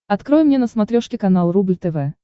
открой мне на смотрешке канал рубль тв